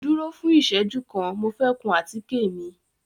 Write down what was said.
Duro fun ìseju kan, Mo fẹ kun àtike mi